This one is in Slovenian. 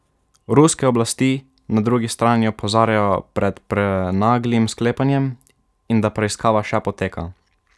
Ruske oblasti na drugi strani opozarjajo pred prenaglim sklepanjem in da preiskava še poteka.